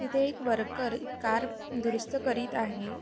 तिथे एक worker car दुरुस्त करीत आहे.